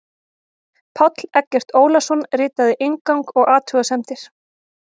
Páll Eggert Ólason ritaði inngang og athugasemdir.